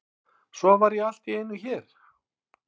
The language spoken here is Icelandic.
Svo var ég allt í einu hér.